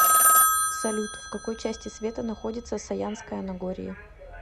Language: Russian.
салют в какой части света находится саянское нагорье